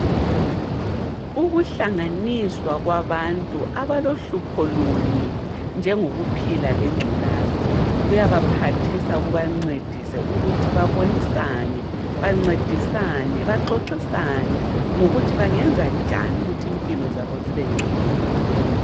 Ukuhlanganiswa kwabantu abalohlupho lunye njengokuphila lengculaza kuyabaphathisa, kubancedise ukuthi babonisane bancedisane baxoxisane ngokuthi bangenza njani ukuthi impilo zabo zibengcono.